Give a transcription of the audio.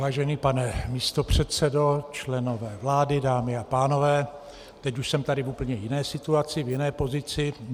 Vážený pane místopředsedo, členové vlády, dámy a pánové, teď už jsem tady v úplně jiné situaci, v jiné pozici.